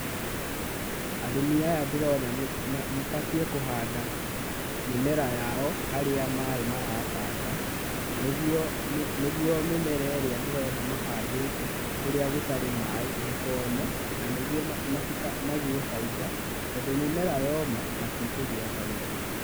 Arĩmi aya ndĩrona nĩ mabatiĩ kũhanda mĩmera yao harĩa maaĩ maratata, nĩguo mĩmera ĩrĩa ndĩrona mahandĩte kũrĩa gũtarĩ maaĩ ndĩkome, na nĩguo magĩe bainda tondũ mĩmera yoma matikũgĩa na bainda.